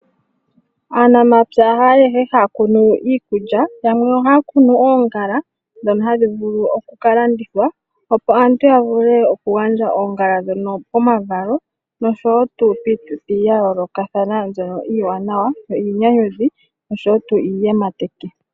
Aanamapya ayehe haya kunu iikulya yamwe ohaya kunu oongala dhono hadhi vulu oku kalandithwa opo aantu ya vule ku gandja oongala dhono poma valo, noshowo piituthi ya yolokathana mbyono iiwanawa niinyanyudhi oshowo iiyematekithi.